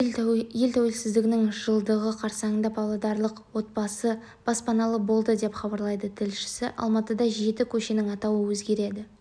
ел тәуелсіздігінің жылдығы қарсаңында павлодарлық отбасы баспаналы болды деп хабарлайды тілшісі алматыда жеті көшенің атауы өзгереді